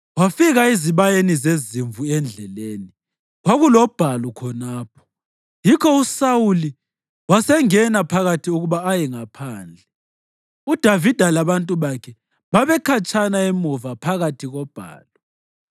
Wafika ezibayeni zezimvu endleleni; kwakulobhalu khonapho, yikho uSawuli wasengena phakathi ukuba aye ngaphandle. UDavida labantu bakhe babekhatshana emuva phakathi kobhalu.